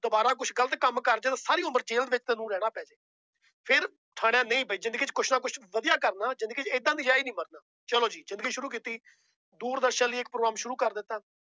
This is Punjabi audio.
ਦੁਬਾਰਾ ਕੁਛ ਗ਼ਲਤ ਕੰਮ ਕਰ ਜਾਏ ਸਾਰੀ ਉਮਰ ਜੇਲ ਦੇ ਵਿੱਚ ਤੈਨੂੰ ਰਹਿਣਾ ਪੈ ਜਾਏ ਫਿਰ ਠਾਣਿਆ ਨਹੀਂ ਵੀ ਜ਼ਿੰਦਗੀ ਚ ਕੁਛ ਨਾ ਕੁਛ ਵਧੀਆ ਕਰਨਾ ਜ਼ਿੰਦਗੀ ਚ ਏਦਾਂ ਨਜ਼ਾਇਜ਼ ਨੀ ਮਰਨਾ, ਚਲੋ ਜੀ ਜ਼ਿੰਦਗੀ ਸ਼ੁਰੂ ਕੀਤੀ ਦੂਰ ਦਰਸ਼ਨ ਲਈ ਇੱਕ program ਸ਼ੁਰੂ ਕਰ ਦਿੱਤਾ।